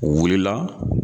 U wulila